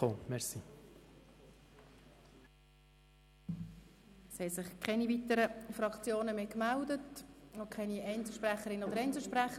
Es haben sich keine weiteren Fraktionen gemeldet, auch keine Einzelsprecherinnen oder Einzelsprecher.